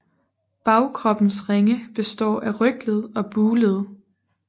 Bagkroppens ringe består af rygled og bugled